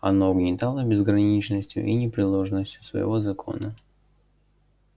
оно угнетало безграничностью и непреложностью своего закона